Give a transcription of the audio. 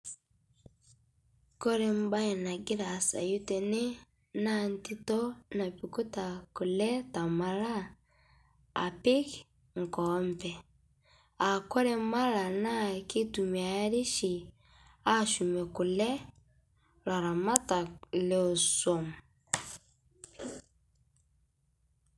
kore mbai nagiraa aasayu tenee naa ntitoo napikutaa kule temala apik nkoompe aakore malaa naa keitumiarii shi ashumie kulee laramatak lesuom.